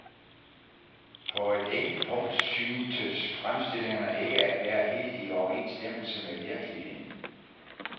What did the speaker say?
På et enkelt punkt syntes fremstillingen ikke at være helt i overensstemmelse med virkeligheden.